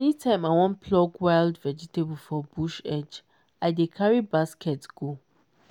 anytime i wan pluck wild vegetable for bush edge i dey carry basket go.